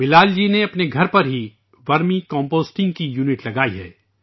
بلال جی نے اپنے گھر پر ہی ورمی کمپوسٹنگ کا ایک یونٹ لگایا ہے